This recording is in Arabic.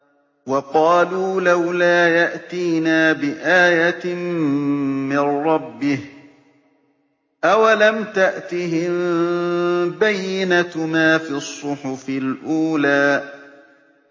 وَقَالُوا لَوْلَا يَأْتِينَا بِآيَةٍ مِّن رَّبِّهِ ۚ أَوَلَمْ تَأْتِهِم بَيِّنَةُ مَا فِي الصُّحُفِ الْأُولَىٰ